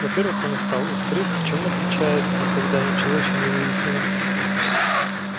во-первых он устал а во-вторых в чём отличается когда ничего ещё не выяснено